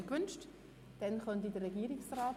– Diese wünschen das Wort auch nicht.